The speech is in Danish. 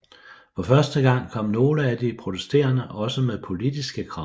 For første gang kom nogle af de protesterende også med politiske krav